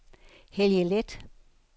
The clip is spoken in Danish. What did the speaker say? Helge Leth